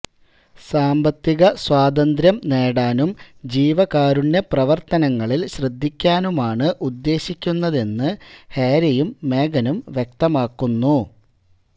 സാമ്പത്തികസ്വാതന്ത്രം നേടാനും ജീവകാരുണ്യ പ്രവർത്തനങ്ങളിൽ ശ്രദ്ധിക്കാനുമാണ് ഉദ്ദേശിക്കുന്നതെന്ന് ഹാരിയും മേഗനും വ്യക്തമാക്കുന്നു